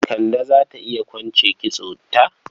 Kande za ta iya kwance kitsonta?